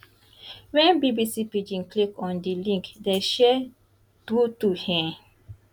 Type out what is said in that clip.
wen bbc pidgin click on di link dem share truetrue e